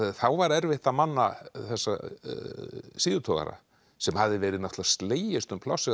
þá var erfitt að manna þessa síðutogara sem hafði verið slegist um plássið